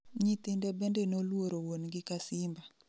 Nyithinde bende noluoro wuon gi ka simba